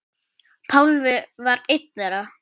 Pálmi var einn þeirra.